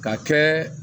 Ka kɛ